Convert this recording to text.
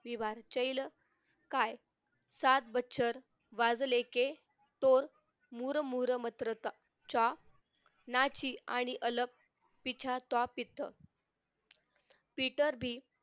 विवार चैल काय सात बजकर वाजले के तो मुरमुरमात्रचा च्या नाची आणि अलग पिचत्वापित्त पीटर्बि